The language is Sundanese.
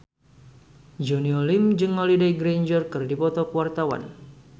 Junior Liem jeung Holliday Grainger keur dipoto ku wartawan